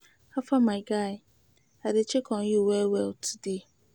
How far, my guy? I dey check on you well well today.